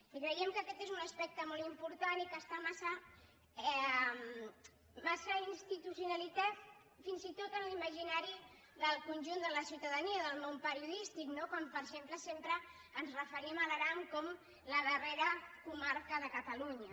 i creiem que aquest és un aspecte molt important i que està massa institucionalitzat fins i tot en l’imaginari del conjunt de la ciutadania del món periodístic no quan per exemple sempre ens referim a l’aran com la darrera comarca de catalunya